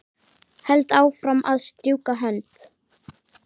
Held áfram að strjúka hönd